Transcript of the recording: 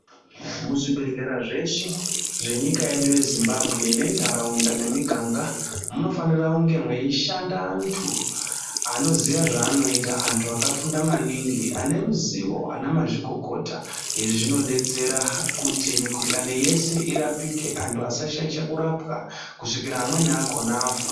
Muzvibhedhlera zveshe zvenyika yedu yezimbabwe ngendaraunda ngemiganga munofana kunge meishanda antu anoziya zvaunoita antu akafunda maningi ane ruzivo ana mazvikokota izvi zvinodetsera kuti mikuhlani yese irapike antu asashaisha kurapwa kusvikira amweni akona afa.